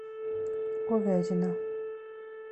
ковязина